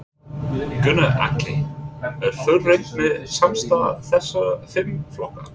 Gunnar Atli: Er fullreynt með samstarf þessara fimm flokka?